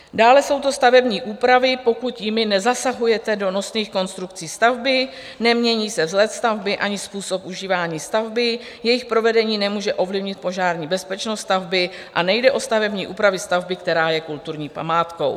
Dále jsou to stavební úpravy, pokud jimi nezasahujete do nosných konstrukcí stavby, nemění se vzhled stavby ani způsob užívání stavby, jejich provedení nemůže ovlivnit požární bezpečnost stavby a nejde o stavební úpravy stavby, která je kulturní památkou.